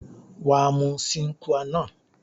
Waa mu Sin Qua non